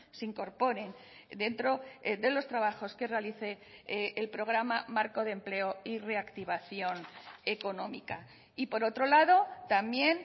se incorporen dentro de los trabajos que realice el programa marco de empleo y reactivación económica y por otro lado también